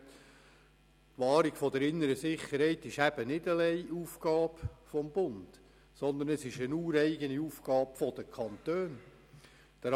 Die Wahrung der inneren Sicherheit ist eben nicht alleinige Aufgabe des Bundes, sondern es ist eine ureigene Aufgabe der Kantone.